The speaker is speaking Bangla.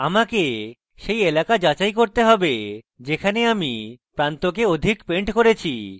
আমাকে সেই এলাকা যাচাই করতে have যেখানে আমি প্রান্তকে অধিক পেন্ট করেছি